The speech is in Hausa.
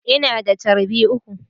Ina da charbi uku.